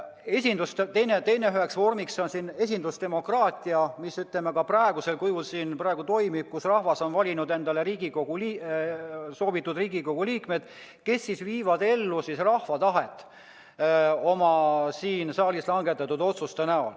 Üheks vormiks on siin esindusdemokraatia, mis ka praegu toimib: rahvas on valinud soovitud Riigikogu liikmed, kes viivad ellu rahva tahet siin saalis langetatud otsuste näol.